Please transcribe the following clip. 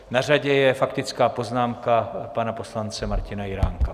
Na řadě je faktická poznámka pana poslance Martina Jiránka.